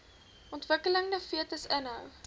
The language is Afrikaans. ontwikkelende fetus inhou